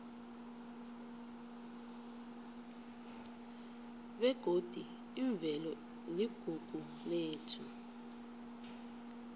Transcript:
begodi imvelo iligugu lethu